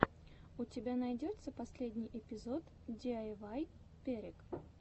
у тебя найдется последний эпизод диайвай перек